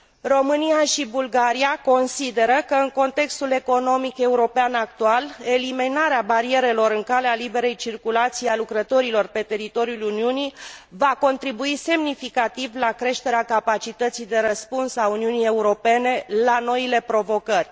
România și Bulgaria consideră că, în contextul economic european actual, eliminarea barierelor în calea liberei circulații a lucrătorilor pe teritoriul Uniunii va contribui semnificativ la creșterea capacității de răspuns a Uniunii Europene la noile provocări.